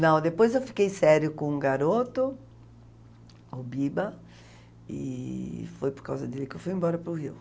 Não, depois eu fiquei sério com um garoto, o Biba, e foi por causa dele que eu fui embora para o Rio.